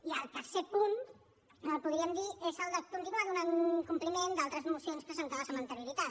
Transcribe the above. i el tercer punt podríem dir és el de continuar donant compliment d’altres mocions presentades amb anterioritat